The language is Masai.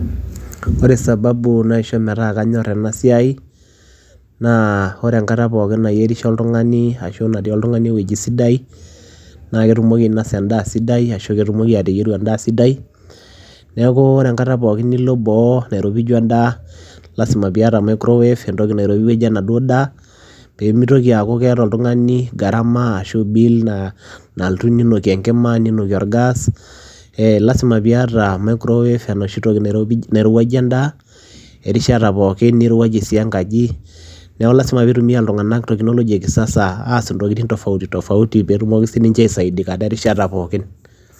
Ore sababu naisho peyie kanyor ena siai naa ore enkata pookin nayierisho oltungani ashu natii oltungani ewueji sidai naa ketumoki ainosa endaa sidai ashu ketumoki ateyieru endaa sidai ,niaku ore enkata pookin nilo boo nairopiju endaa lasima piata microwave entoki nairowuajie enaduoo daa ,pemitoki aaku keeta oltungani gharama ashu bill nalotu ninokie enkima ninokie orgas .Ee lasima piata microwave enoshi toki nairopi , nairowuajie endaa erishata pookin nirowuajie sii enkaji ,niaku lasima pitumia iltunganak technology e kisasa ntokitin tofautitofauti peetumoki sininche aisadiata erishata pookin .